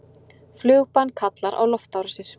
Flugbann kallar á loftárásir